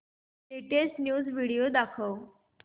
latest news video दाखव